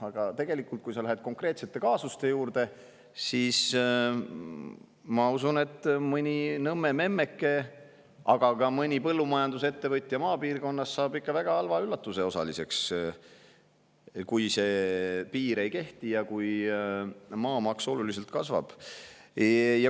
Aga läheme konkreetsete kaasuste juurde: ma usun, et tegelikult mõni Nõmme memmeke, aga ka mõni põllumajandusettevõtja maapiirkonnas saab ikka väga halva üllatuse osaliseks, kui see piir ei kehti ja kui maamaks oluliselt kasvab.